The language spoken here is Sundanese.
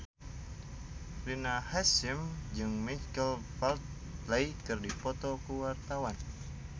Rina Hasyim jeung Michael Flatley keur dipoto ku wartawan